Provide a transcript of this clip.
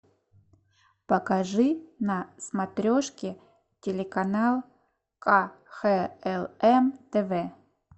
покажи на смотрешке телеканал кхлм тв